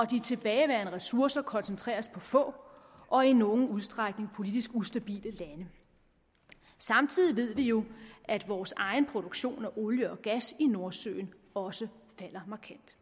de tilbageværende ressourcer koncentreres på få og i nogen udstrækning politisk ustabile lande samtidig ved vi jo at vores egen produktion af olie og gas i nordsøen også falder markant